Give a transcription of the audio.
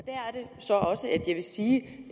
så også at jeg vil sige